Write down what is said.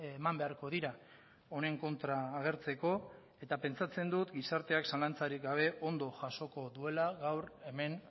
eman beharko dira honen kontra agertzeko eta pentsatzen dut gizarteak zalantzarik gabe ondo jasoko duela gaur hemen